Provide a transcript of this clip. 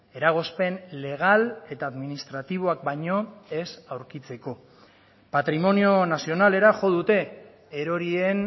eragozpen legal eta administratiboak baino ez aurkitzeko patrimonio nazionalera jo dute erorien